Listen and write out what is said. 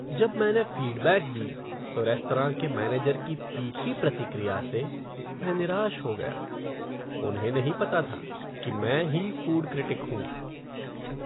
जब मैंने फ़ीडबैक दी तो रेस्तरां के मैनेजर की तीखी प्रतिक्रिया से मैं निराश हो गया। उन्हें नहीं पता था कि मैं ही फ़ूड क्रिटिक हूँ।